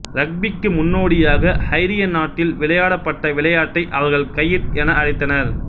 ரக்பிக்கு முன்னோடியாக ஐரிய நாட்டில் விளையாடப்பட்ட விளையாட்டை அவர்கள் கையிட் என அழைத்தனர்